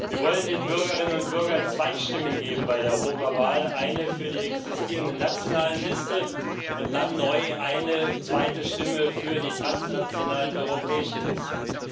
Wir wollen den Bürgerinnen und Bürgern bei der Europawahl zwei Stimmen geben eine für die existierenden nationalen Listen und dann neu eine zweite Stimme für die transnationalen europäischen Listen.